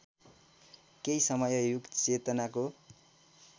केही समय युगचेतनाको